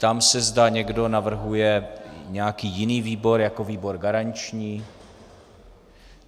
Ptám se, zda někdo navrhuje nějaký jiný výbor jako výbor garanční.